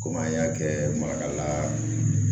Komi an y'a kɛ makala